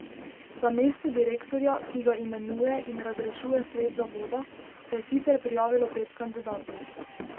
Za mesto direktorja, ki ga imenuje in razrešuje svet zavoda, se je sicer prijavilo pet kandidatov.